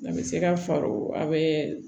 A bɛ se ka far'o a bɛ